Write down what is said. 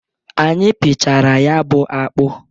Anyị pịchara ya bụ akpụ.